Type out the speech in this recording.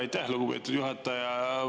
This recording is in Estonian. Aitäh, lugupeetud juhataja!